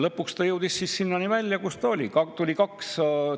Lõpuks jõudis ta välja sinnani, kuhu ta jõudis.